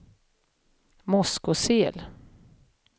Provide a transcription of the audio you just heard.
Moskosel